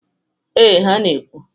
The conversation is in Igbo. Ee, ha na-ekwu.